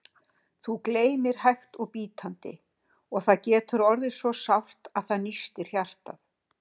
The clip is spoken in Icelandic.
Þú gleymir hægt og bítandi, og það getur orðið svo sárt að það nístir hjartað.